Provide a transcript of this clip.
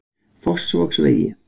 Fossvogsvegi